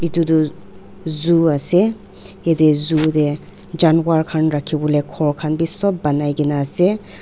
etu tuh zoo ase eteh zoo dae janwar khan rakhi bole ghor khan bhi sobh banaikena ase.